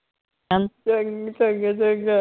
ਚੰਗ ਚੰਗਾ ਚੰਗਾ